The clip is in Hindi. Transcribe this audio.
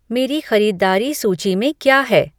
मेरी ख़रीदारी सूची में क्या है